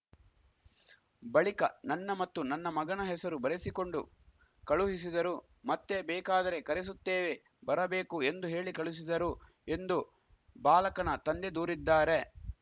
ಬಳಿಕ ನನ್ನ ಮತ್ತು ನನ್ನ ಮಗನ ಹೆಸರು ಬರೆಸಿಕೊಂಡು ಕಳುಹಿಸಿದರು ಮತ್ತೆ ಬೇಕಾದರೆ ಕರೆಸುತ್ತೇವೆ ಬರಬೇಕು ಎಂದು ಹೇಳಿ ಕಳುಹಿಸಿದರು ಎಂದು ಬಾಲಕನ ತಂದೆ ದೂರಿದ್ದಾರೆ